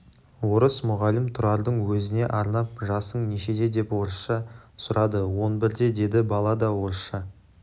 орыс мұғалім тұрардың өзіне арнап жасың нешеде деп орысша сұрады он бірде деді бала да орысша